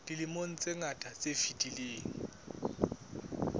dilemong tse ngata tse fetileng